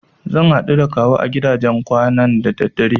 Zan haɗu da Kawu a gidajen kwanan da daddare.